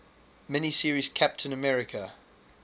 mini series captain america